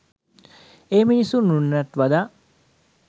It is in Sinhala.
ඒ මිනිස්සු උන්නටත් වඩා